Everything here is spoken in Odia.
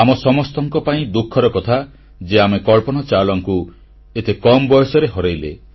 ଆମ ସମସ୍ତଙ୍କ ପାଇଁ ଦୁଃଖର କଥା ଯେ ଆମେ କଳ୍ପନା ଚାଓଲାଙ୍କୁ ଏତେ କମ୍ ବୟସରେ ହରେଇଲେ